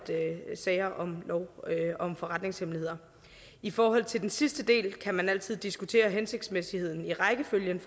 sager om lov om forretningshemmeligheder i forhold til den sidste del kan man altid diskutere hensigtsmæssigheden i rækkefølgen